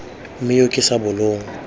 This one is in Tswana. me yo ke sa bolong